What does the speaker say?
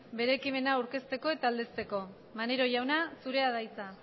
bere ekimena aurkezteko eta aldezteko maneiro jauna zurea da hitza